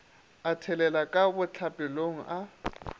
a thelela ka bohlapelong a